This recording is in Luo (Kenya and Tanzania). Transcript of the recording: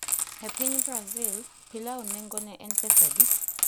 E piny Brazil, pilau nengone en pesa adi?